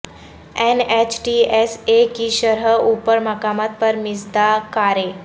N H T S A کی شرح اوپر مقامات پر مزدا کاریں